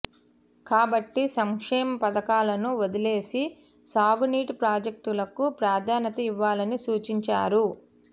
కాబట్టి సంక్షేమ పథకాలను వదిలేసి సాగునీటి ప్రాజెక్టులకు ప్రాధాన్యత ఇవ్వాలని సూచించారు